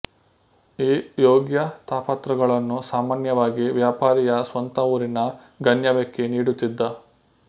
ಈ ಯೋಗ್ಯತಾಪತ್ರಗಳನ್ನು ಸಾಮಾನ್ಯವಾಗಿ ವ್ಯಾಪಾರಿಯ ಸ್ವಂತ ಊರಿನ ಗಣ್ಯವ್ಯಕ್ತಿ ನೀಡುತ್ತಿದ್ದ